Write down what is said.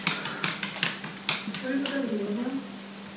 ольга гавриловна